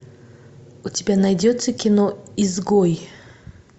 у тебя найдется кино изгой